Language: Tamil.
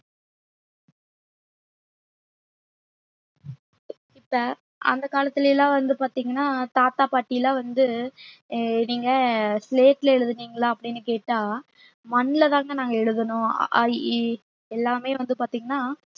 இப்ப அந்த காலத்துல எல்லாம் வந்து பாத்தீங்கன்னா தாத்தா பாட்டி எல்லாம் வந்து அஹ் நீங்க எழுதுனீங்களா அப்பிடின்னு கேட்டா மண்லதாங்க நாங்க எழுதனோம் அ ஆ இ ஈ எல்லாமே வந்து பாத்தீங்கன்னா